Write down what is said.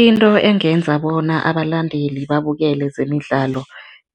Into engenza bona abalandeli babukele zemidlalo